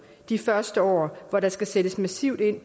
de første år hvor der skal sættes massivt ind i